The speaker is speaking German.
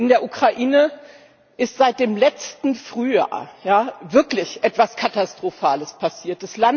In der Ukraine ist seit dem letzten Frühjahr wirklich etwas Katastrophales passiert.